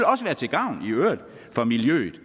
også være til gavn for miljøet